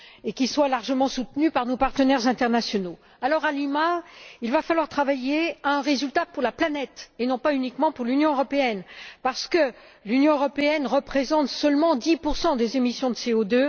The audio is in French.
qui soit largement soutenu par nos partenaires internationaux. Par conséquent, à Lima, il va falloir travailler à un résultat pour la planète, et non pas uniquement pour l'Union européenne, parce que l'Union européenne représente seulement 10 des émissions de CO